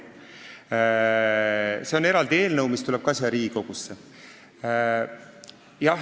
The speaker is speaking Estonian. Selle kohta on eraldi eelnõu, mis tuleb ka siia Riigikogusse.